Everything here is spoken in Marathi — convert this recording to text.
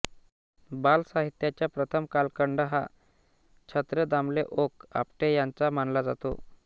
बालसाहित्याचा प्रथम कालखंड हा छत्रे दामले ओक आपटे यांचा मानला जातो